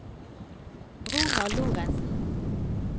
Ronald Lorentsen